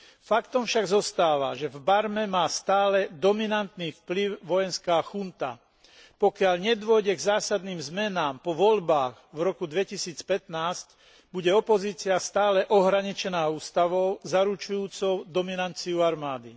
Faktom však zostáva, že v Barme má stále dominantný vplyv vojenská chunta, pokiaľ nedôjde k zásadným zmenám po voľbách v roku 2015, bude opozícia stále ohraničená ústavou zaručujúcou dominanciu armády.